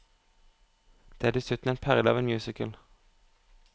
Det er dessuten en perle av en musical.